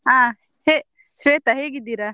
ಹ ಹೇ ಶ್ವೇತ ಹೇಗಿದ್ದೀರಾ?